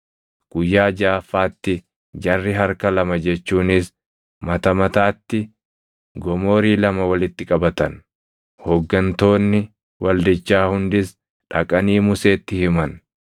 Guyyaa jaʼaffaatti jarri harka lama jechuunis mata mataatti gomoorii lama walitti qabatan; hooggantoonni waldichaa hundis dhaqanii Museetti himan.